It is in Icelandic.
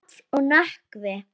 Hrafn og Nökkvi.